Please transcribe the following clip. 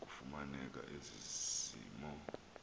kufumaneke ezi mo